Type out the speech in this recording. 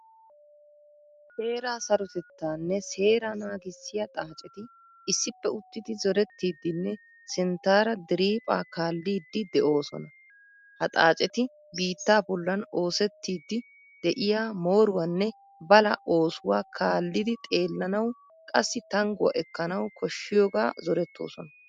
Heeraa sarotettanne seera naagisiyaa xaacetti issippe uttidi zorettidinne sinttaara diriphphaa kaallidi de'oosona. Ha xaacetti biittaa bollan oosettidi de'iyaa mooruwaanne balaa oosuwaa kaallidi xeellanawu qassi tangguwaa ekkanawu koshshiyoga zorettoosona.